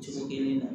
Cogo kelen na